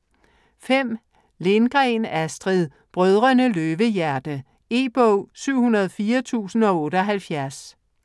Lindgren, Astrid: Brødrene Løvehjerte E-bog 704078